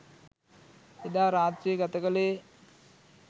එදා රාත්‍රිය ගත කළේ